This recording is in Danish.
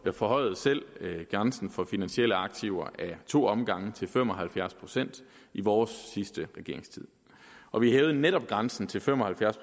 forhøjede selv grænsen for finansielle aktiver ad to omgange til fem og halvfjerds procent i vores sidste regeringstid og vi hævede netop grænsen til fem og halvfjerds